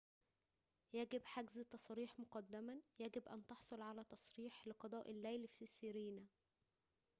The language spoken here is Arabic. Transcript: يجب حجز التصاريح مقدماً يجب أن تحصل على تصريح لقضاء الليل في سيرينا